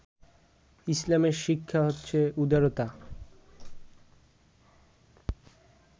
ইসলামের শিক্ষা হচ্ছে উদারতা